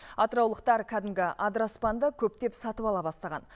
атыраулықтар кәдімгі адыраспанды көптеп сатып ала бастаған